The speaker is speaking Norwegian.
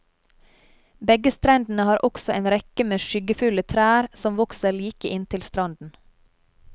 Begge strendene har også en rekke med skyggefulle trær som vokser like inntil stranden.